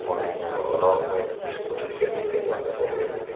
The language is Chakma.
mone gorong mui scooty sell sekkin mone hoi sell oyede.